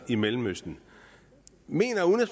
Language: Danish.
i mellemøsten